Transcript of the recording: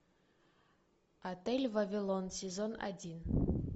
отель вавилон сезон один